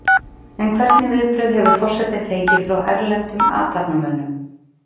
En hvernig viðbrögð hefur forsetinn fengið frá erlendum athafnamönnum?